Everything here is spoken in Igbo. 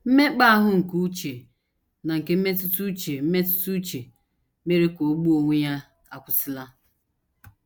Mmekpa ahụ nke uche na nke mmetụta uche mmetụta uche mere ka o gbuo onwe ya akwụsịla.